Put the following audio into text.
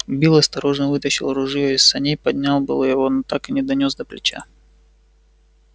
билл осторожно вытащил ружьё из саней поднял было его но так и не донёс до плеча